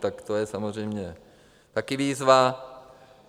Tak to je samozřejmě taky výzva.